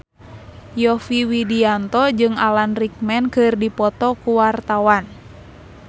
Yovie Widianto jeung Alan Rickman keur dipoto ku wartawan